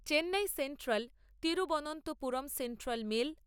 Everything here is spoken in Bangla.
Chennai সেন্ট্রাল-তিরুবনন্তপুরম central mail